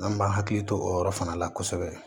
An b'an hakili to o yɔrɔ fana la kosɛbɛ